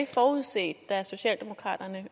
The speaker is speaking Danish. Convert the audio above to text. forudset af socialdemokraterne at